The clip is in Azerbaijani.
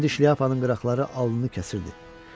İndi şlyapanın qıraqları alnını kəsirdi.